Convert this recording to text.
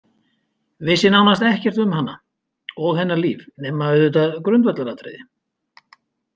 Vissi nánast ekkert um hana og hennar líf nema auðvitað grundvallaratriði.